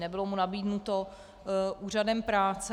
Nebylo mu nabídnuto úřadem práce.